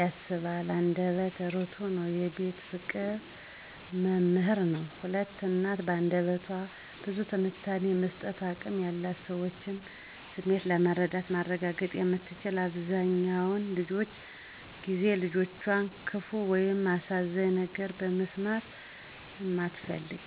ያስባል አንደበተ እርዕቱ ነው የቤት ፍቅር መምህር ነው። 2. እናት: በአንደበቷ ብዙ ትንታኔ የመስጠት አቅም ያላት የሰዎችን ስሜት መረዳት ማረጋገጥ የምትችል አብዘሃኛውን ጊዜ የልጆቿን ክፋ ወይም አሳዛኝ ነገር መስማት እማትፈልግ።